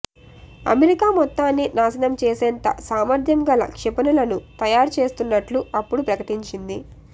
America మొత్తాన్ని నాశనం చేసేంత సామర్థ్యం గల క్షిపణులను తయారు చేస్తున్నట్లు అప్పుడు ప్రకటించింది